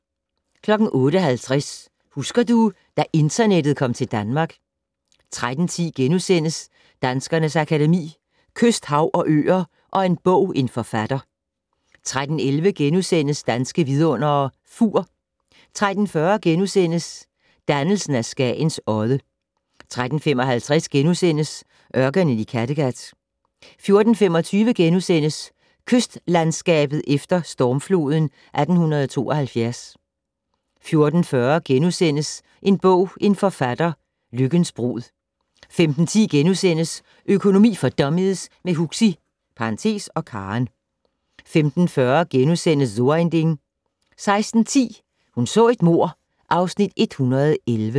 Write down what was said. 08:50: Husker du - da internettet kom til Danmark 13:10: Danskernes Akademi: Kyst, hav og øer & En bog - en forfatter * 13:11: Danske Vidundere: Fur * 13:40: Dannelsen af Skagen Odde * 13:55: Ørkenen i Kattegat * 14:25: Kystlandskabet efter stormfloden 1872 * 14:40: En bog - en forfatter: Lykkens brud * 15:10: Økonomi for dummies - med Huxi (og Karen) * 15:40: So ein Ding * 16:10: Hun så et mord (Afs. 111)